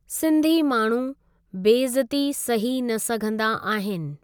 सिन्धी माण्हू' बेइज्ज़ती सही न सघंदा आहिनि।